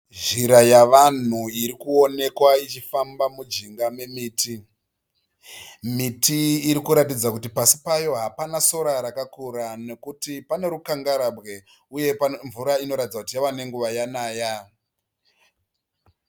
Zhira yevanhu iri kuonekwa ichifamba mujinga memiti. Miti iri kuratidza kuti pasi payo hapana sora rakakura nekuti pane rukangarabwe uye mvura inoratidza kuti yave nenguva yanaya.